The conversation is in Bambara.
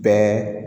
Bɛɛ